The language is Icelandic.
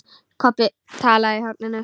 Kobbi talaði í hornið.